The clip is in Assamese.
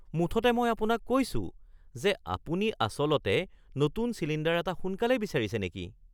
মুঠতে মই আপোনাক কৈছোঁ যে, আপুনি আচলতে নতুন চিলিণ্ডাৰ এটা সোনকালেই বিচাৰিছে নেকি? (গেছ এজেন্সীৰ ৰিপ্ৰেজেন্টেটিভ)